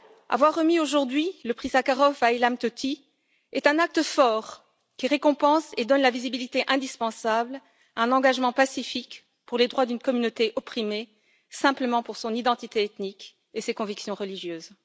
Avoir remis, aujourd'hui, le prix Sakharov à Ilham Tohti est un acte fort qui récompense et donne une visibilité indispensable à un engagement pacifique pour les droits d'une communauté opprimée simplement pour son identité ethnique et ses convictions religieuses.